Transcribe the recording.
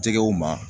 Jɛgɛw ma